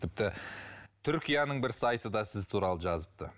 тіпті түркияның бір сайты да сіз туралы жазыпты